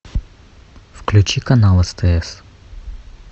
включи канал стс